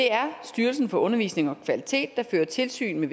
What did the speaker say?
det er styrelsen for undervisning og kvalitet der fører tilsyn